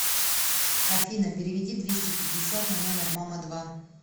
афина переведи двести пятьдесят на номер мама два